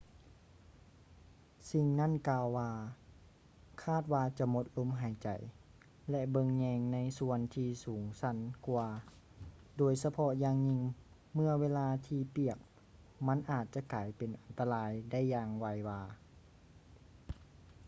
ສິ່ງນັ້ນກ່າວວ່າ ຄາດວ່າຈະໝົດລົມຫາຍໃຈ ແລະ ເບິ່ງແຍງໃນສ່ວນທີ່ສູງຊັນກວ່າ ໂດຍສະເພາະຢ່າງຍິ່ງເມື່ອເວລາທີ່ປຽກມັນອາດຈະກາຍເປັນອັນຕະລາຍໄດ້ຢ່າງໄວວາ